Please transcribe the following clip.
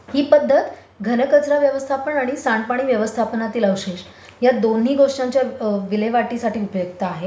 ही पध्दत घन कचरा व्यवस्थापन आणि सांडपाणी व्यवस्थापन यातील अवशेष या दोन्ही गोष्टींच्या विल्हेवाटसाठी उपयुक्त आहे.